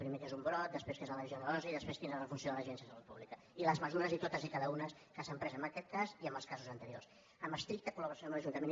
primer què és un brot després què és la legionel·losi després quina és la funció de l’agència de salut pública i les mesures totes i cadascuna que s’han pres en aquest cas i en els casos anteriors en estricta col·laboració amb l’ajuntament